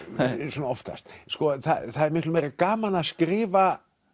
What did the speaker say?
svona oftast það er miklu meira gaman að skrifa